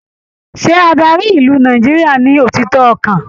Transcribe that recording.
Ṣé adarí ìlú Nàìjíríà ní òtítọ ọkan?